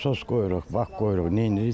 Nasos qoyuruq, bak qoyuruq, nə edirik?